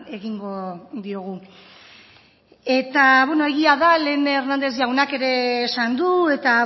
egingo diogu eta beno egia da lehen hernández jaunak ere esan du eta